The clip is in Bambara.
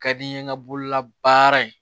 Ka di n ye n ka bololabaara in